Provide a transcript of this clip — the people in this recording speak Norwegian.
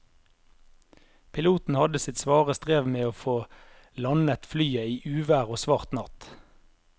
Piloten hadde sitt svare strev med å få landet flyet i uvær og svart natt.